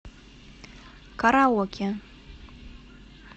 караоке